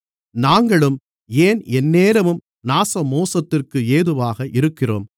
நாங்களும் ஏன் எந்நேரமும் நாசமோசத்திற்கு ஏதுவாக இருக்கிறோம்